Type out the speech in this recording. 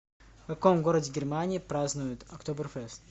в каком городе германии празднуют октоберфест